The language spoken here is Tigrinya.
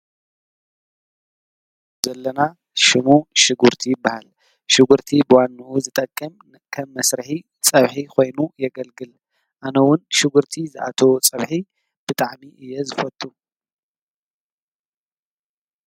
ኣብዚ ምስሊ ንሪኦ ዘለና ሽሙ ሽጉርቲ ይባሃል፡፡ ሽጉርቲ ብዋንኡ ዝጠቅም ከም መስርሒ ፀብሒ ኮይኑ የገልግል፡፡ ኣነውን ሽጉርቲ ዝኣተዎ ፀብሒ ብጣዕሚ እየ ዝፈቱ፡፡